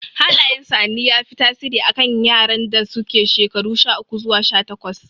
Hallayen sa'anni ya fi tasiri a kan yaran da suke shekaru sha uku zuwa sha takwas